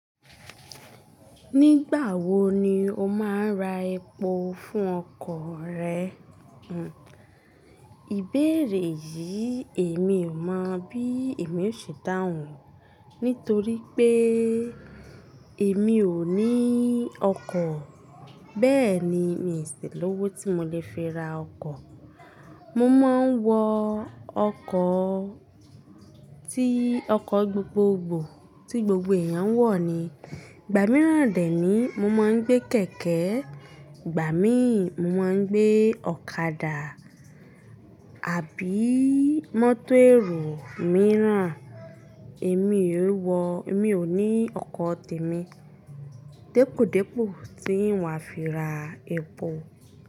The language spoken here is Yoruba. Nígbà wo ni o máa ń ra epo fún ọkọ̀ rẹ? Hmm, ìbéèrè yìí èmi ò mọ bí èmi ó ṣe dáhùn nítorí pé èmi ò ní ọkọ̀. Bẹ́ẹ̀ ni, mi ò sì lówó tí mo lè fi ra ọkọ̀. Mo máa ń wọ ọkọ̀ tí ọkọ̀ gbogbogbò tí gbogbo èèyàn ń wọ̀ ni. Ìgbà mìíràn dè ẹ́ ni mo máa ń gbé kẹ̀kẹ́, ìgbà míì mo máa ń gbé ọ̀kadà àbí mọ́tò ẹ̀rọ mìíràn. Èmi ò wọ̀, èmi ò ní ọkọ̀ tèmi. Dipodipo ti ń wà fi ra epo.